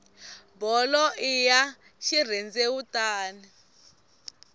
bolo i ya xirhendewutani